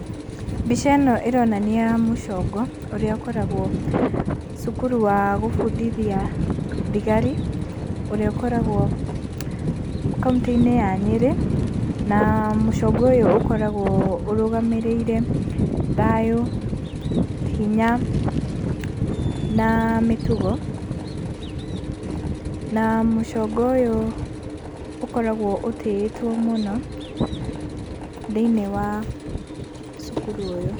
Mbica ĩno ĩronania mũcongo ũrĩa ũkoragwo cukuru wa gũbundithia thigari, ũrĩa ũkoragwo kaũntĩ-inĩ ya Nyĩrĩ. Na mũcongo ũyũ ũkoragwo ũrũgamĩrĩire thayũ, hinya na mĩtugo. Na mũcongo ũyũ ũkoragwo ũtĩĩtwo mũno thĩinĩ wa cukuru ũyũ.